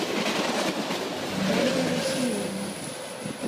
ольга русиевна